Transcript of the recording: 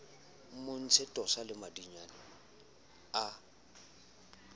mmontsha tosa le madinyane a